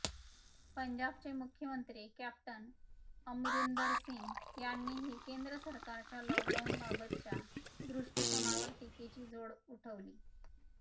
पंजाबचे मुख्यमंत्री कॅप्टन अमरिंदर सिंग यांनीही केंद्र सरकारच्या लॉकडाउनबाबतच्या दृष्टीकोनावर टीकेची झोड उठवली